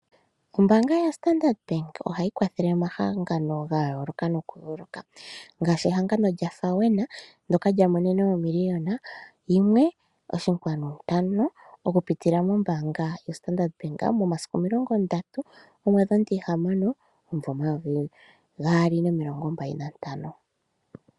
Ombaanga yaStandard Bank ohayi kwathele omahangano ga yooloka nokuyoloka ngaashi ehangano lyaFAWENA ndoka lya monene omiliyona yimwe oshinkwanu ntano, okupitila mombaanga yoStandard Bank, momasiku omilongo ndatu, gomwedhi omutihamano, omumvo omayovi gaali nomilongo mbali nantano.